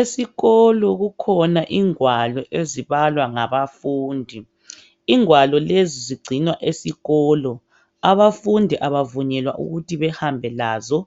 Esikolo kukhona ingwalo ezibalwa ngabafundi. Ingwalo lezi zigcinwa esikolo. Abafundi abavunyelwa ukuthi behambe lazo